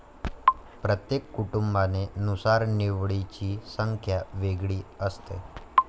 प्रत्येक कुटुंबाने नुसार निवडीची संख्या वेगळी असते